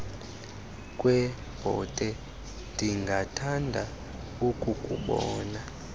kwebhote ndingathanda ukukubona